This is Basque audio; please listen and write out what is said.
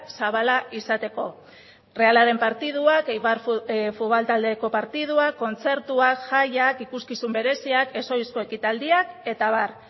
zabala izateko errealaren partiduak eibar futbol taldeko partiduak kontzertuak jaiak ikuskizun bereziak ez ohizko ekitaldiak eta abar